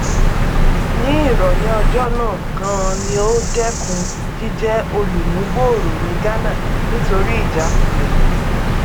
ní ìrọlẹ ọjọ náà ganan ni ó dẹkun jíjẹ olùmúgbòòrò ní ghánà nítorí ìjákulẹ